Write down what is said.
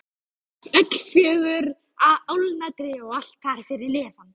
Öll fjögurra álna tré og allt þar fyrir neðan.